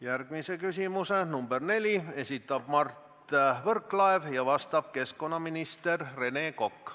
Järgmise küsimuse, nr 4, esitab Mart Võrklaev, vastab keskkonnaminister Rene Kokk.